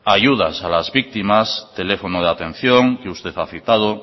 ayudas a las víctimas teléfono de atención que usted ha citado